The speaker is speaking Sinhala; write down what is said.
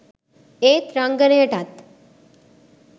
ඒත් රංගනයටත්